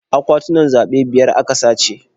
Akwatunan zaɓe biyar a ka sace.